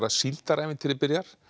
síldarævintýrið byrjar